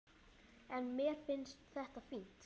En mér finnst þetta fínt.